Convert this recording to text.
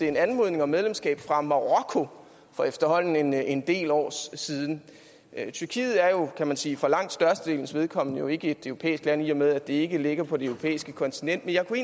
en anmodning om medlemskab fra marokko for efterhånden en en del år siden tyrkiet er jo kan man sige for langt størstedelens vedkommende ikke et europæisk land i og med at det ikke ligger på det europæiske kontinent men jeg kunne